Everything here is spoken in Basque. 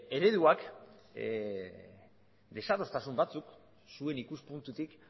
ereduak desadostasun batzuek zuen ikuspuntutik